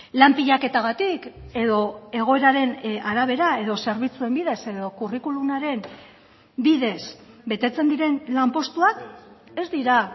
lan pilaketagatik edo egoeraren arabera edo zerbitzuen bidez edo curriculumaren bidez betetzen diren lanpostuak ez dira